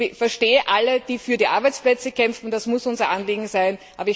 Ich verstehe alle, die für die Arbeitsplätze kämpfen, das muss unser Anliegen sein.